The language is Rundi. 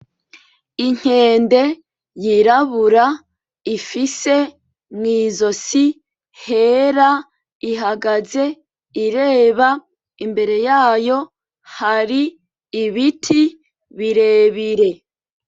Inkende yirabura ifise mw'izosi hera, ihagaze iraba imbere yayo hari ibiti birebire.